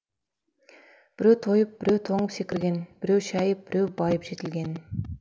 біреу тойып біреу тоңып секірген біреу шәйіп біреу байып жетілген